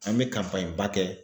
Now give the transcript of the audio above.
An bɛ ba kɛ